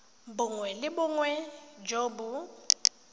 bongwe le bongwe jo bo